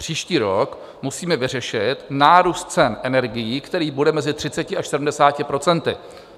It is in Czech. Příští rok musíme vyřešit nárůst cen energií, který bude mezi 30 až 70 procenty.